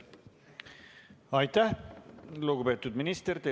Aitäh, lugupeetud minister!